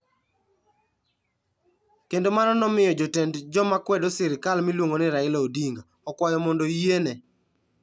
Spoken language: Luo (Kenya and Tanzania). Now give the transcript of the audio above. Kendo mano nomiyo jatend joma kwedo sirkal miluongo ni Raila Odinga, okwayo mondo oyiene.